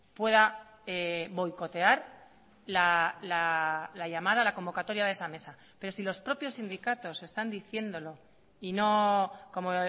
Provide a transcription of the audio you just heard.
pueda boicotear la llamada la convocatoria de esa mesa pero si los propios sindicatos están diciéndolo y no como